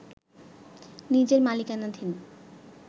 নিজের মালিকানাধীন